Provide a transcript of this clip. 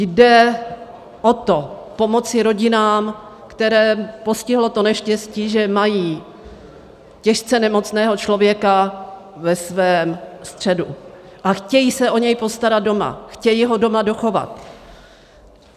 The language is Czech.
Jde o to, pomoci rodinám, které postihlo to neštěstí, že mají těžce nemocného člověka ve svém středu a chtějí se o něj postarat doma, chtějí ho doma dochovat.